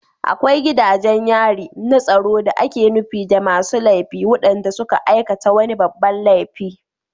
Akwai gidajen yari na tsaro da ake nufi da masu laifi waɗanda suka aikata wani babban laifi